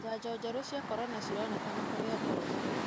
Janjo njerũ cia corona cironekana kũrĩ andũ othe.